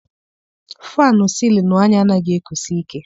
Fannụ sịlịnụ anyị anaghị ekusi ike.